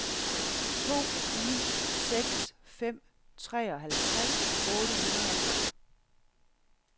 to ni seks fem treoghalvtreds otte hundrede og tolv